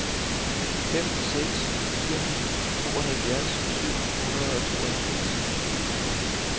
fem seks fire ni tooghalvfjerds syv hundrede og tooghalvfjerds